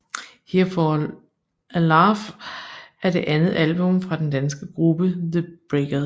Here For A Laugh er det andet album fra den danske gruppe The Breakers